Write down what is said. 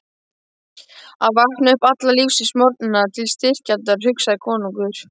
Að vakna upp alla lífsins morgna til styrjaldar, hugsaði konungur.